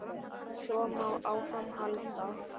Svo má áfram halda.